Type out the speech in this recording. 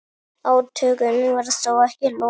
Átökum var þó ekki lokið.